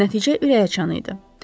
Nəticə ürəkaçan idi.